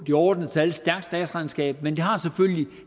de overordnede tal et stærkt statsregnskab men det har selvfølgelig